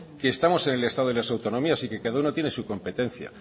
que estamos en el estado de las autonomías y que cada uno tiene su competencia